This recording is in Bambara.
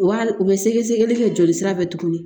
U b'a u bɛ sɛgɛ sɛgɛli kɛ joli sira fɛ tuguni